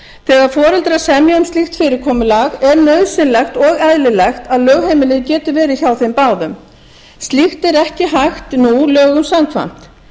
þegar foreldrar semja um slíkt fyrirkomulag er nauðsynlegt og eðlilegt að lögheimilið geti verið hjá þeim báðum slíkt er ekki hægt nú lögum samkvæmt þess vegna er í